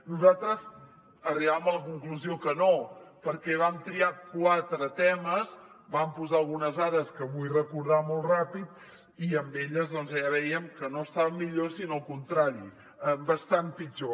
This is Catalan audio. nosaltres arribàvem a la conclusió que no perquè vam triar quatre temes vam posar algunes dades que vull recordar molt ràpid i amb elles doncs ja vèiem que no estaven millor sinó al contrari bastant pitjor